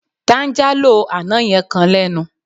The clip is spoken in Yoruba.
Táńjálò àná yẹn kan lẹ́nu.